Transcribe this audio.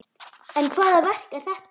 En hvaða verk er þetta?